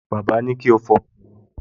Bàbá ní kí ó fọ ọkọ̀ wọn